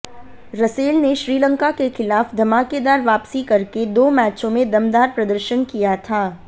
Russell ने श्रीलंका के खिलाफ धमाकेदार वापसी करके दो मैचों में दमदार प्रदर्शन किया था